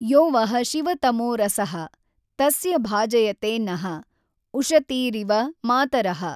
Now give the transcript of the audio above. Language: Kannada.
ಯೊ ವಃ ಶಿವತಮೊ ರಸಃ, ತಸ್ಯ ಭಾಜಯತೆ ನಃ, ಉಷತೀರಿವ ಮಾತರಃ.